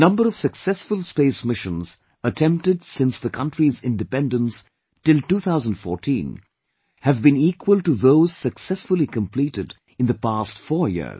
The number of successful space missions attempted since the country's independence till 2014 have been equal to those successfully completed in the past four years